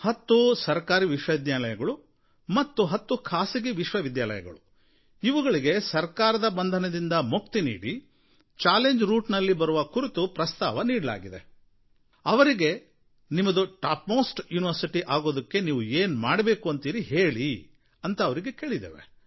ಹತ್ತು ಸರಕಾರಿ ವಿಶ್ವವಿದ್ಯಾಲಯಗಳು ಮತ್ತು ಹತ್ತು ಖಾಸಗಿ ವಿಶ್ವವಿದ್ಯಾಲಯಗಳು ಇವುಗಳಿಗೆ ಸರಕಾರದ ಬಂಧನದಿಂದ ಮುಕ್ತಿ ನೀಡಿ ಚಾಲೆಂಜ್ ರೂಟ್ ನಲ್ಲಿ ಬರುವ ಕುರಿತು ಪ್ರಸ್ತಾವ ನೀಡಲಾಗಿದೆ ಅವರಿಗೆ ನಿಮ್ಮದು ಟಾಪ್ ಮೋಸ್ಟ್ ಯುನಿವರ್ಸಿಟಿ ಅಗೋದಕ್ಕೆ ನೀವು ಏನು ಮಾಡಬೇಕು ಅಂತೀರಿ ಹೇಳಿ ಅಂತ ಅವರಿಗೆ ಕೇಳಿದ್ದೇವೆ